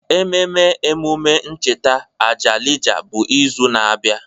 Ememe emume ncheta Ajalija bụ izu na-abịa.